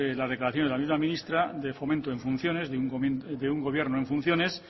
las declaraciones de la misma ministra de fomento en funciones de un gobierno en funciones